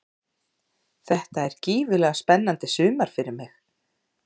Þetta er gífurlega spennandi sumar fyrir mig.